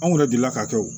Anw yɛrɛ delila k'a kɛ o